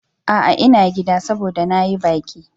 A'a, ina gida, saboda na yi baki.